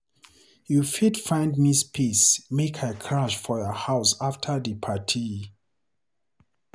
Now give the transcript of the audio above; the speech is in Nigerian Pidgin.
You fit find me space make I crash for your house afta di party?